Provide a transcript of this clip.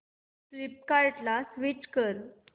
फ्लिपकार्टं ला स्विच कर